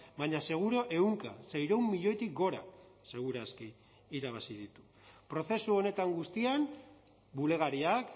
baina seguru ehunka seiehun milioitik gora segur aski irabazi ditu prozesu honetan guztian bulegariak